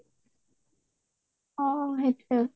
অ অ হয় হয়